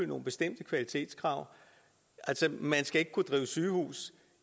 nogle bestemte kvalitetskrav man skal ikke kunne drive sygehus